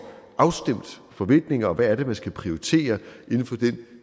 afstemt forventninger og hvad det er man skal prioritere inden for den